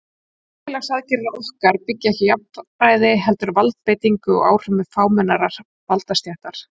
Að samfélagsgerð okkar byggi ekki á jafnræði heldur valdbeitingu og áhrifum fámennrar valdastéttar.